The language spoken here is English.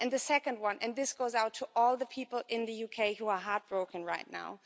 And the second one, and this goes out to all the people in the UK who are heartbroken right now.